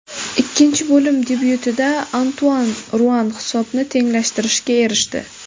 Ikkinchi bo‘lim debyutida Antuan Ruan hisobni tenglashtirishga erishdi.